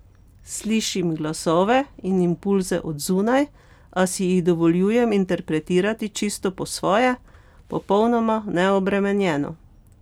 Slišim glasove in impulze od zunaj, a si jih dovoljujem interpretirati čisto po svoje, popolnoma neobremenjeno.